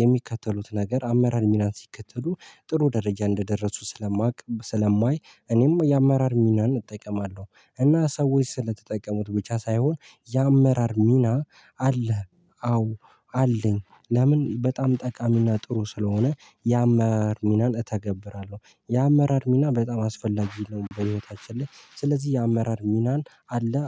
የሚከተሉት ነገር አመራር ሚናን ሲከተሉ ጥሩ ደረጃ እንደደረሱ ስለማውቅ ስለማይ እኔም የአመራር ሚናን እጠቀማለሁ እና ሰዎች ስለተጠቀሙት ብቻ ሳይሆን የአመራር ሚና አለህ አዎ አለኝ ለምን በጣም ጠቃሚና ጥሩ ስለሆነ የአመር ሚናን እተገብራለሁ የአመራር ሚና በጣም አስፈላጊ ነው በህይወታችን ላይ ስለዚህ የአመራር ሚናን አለህ?